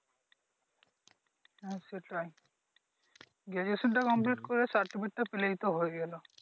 হ্যাঁ, সেটাই Graduation টা কম্পপ্লিট করে সার্টিফিকেটটা ফেলেই তো হয়ে গেলো